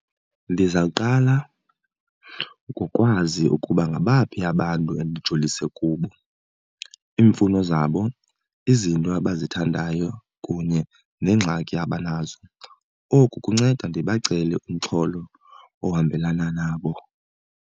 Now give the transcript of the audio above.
Ndizawuqala ngokwazi ukuba ngabaphi abantu endijolise kubo, iimfuno zabo, izinto abazithandayo kunye neengxaki abanazo. Oku kunceda ndibacele umxholo ohambelana nabo.